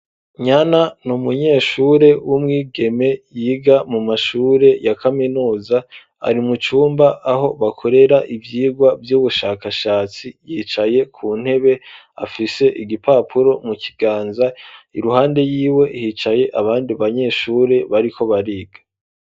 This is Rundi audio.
Nyana ni umunyeshure w'umwigeme yiga mu mashure ya kaminuza ari mucumba aho bakorera ivyigwa vy'ubushakashatsi yicaye ku ntebe afise igipapuro mu kiganza iruhande yiwe hicaye abandi banyeshure bariko bariga.